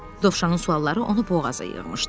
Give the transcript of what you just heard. Dovşanın sualları onu boğaza yığmışdı.